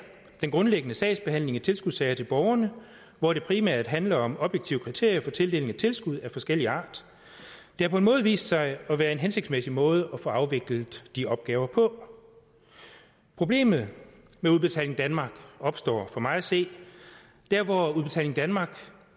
den grundlæggende sagsbehandling i tilskudssager til borgerne hvor det primært handler om objektive kriterier for tildelingen af tilskud af forskellig art det har på en måde vist sig at være en hensigtsmæssig måde at få afviklet de opgaver på problemet med udbetaling danmark opstår for mig at se der hvor udbetaling danmark